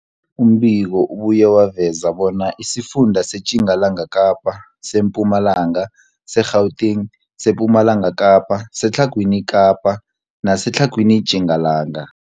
Umbiko ubuye waveza bona isifunda seTjingalanga Kapa, seMpumalanga, seGauteng, sePumalanga Kapa, seTlhagwini Kapa neseTlhagwini Tjingalanga.